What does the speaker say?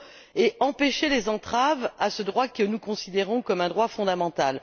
et empêcher les entraves à ce droit que nous considérons comme un droit fondamental.